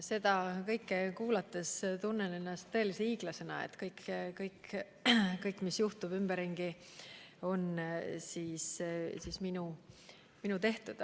Seda kõike kuulates tunnen ennast tõelise hiiglasena – kõik, mis juhtub ümberringi, on minu tehtud.